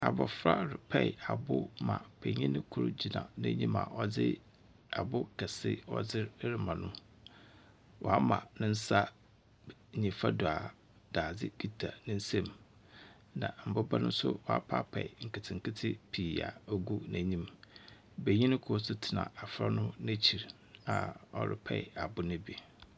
Abofra repaa abo ma panyin kor gyinagyina n’enyim a ɔdze abo kɛse ɔdze rema no. oama ne nsa nyimfa do daadze kitsa ne nsa mu. Na mbobaa no so oapaapaa nktsenketse pii a ogu ne n’enyim. Banyin kor so tsena abofra no n’ekyir a ɔrepaa abo no bi.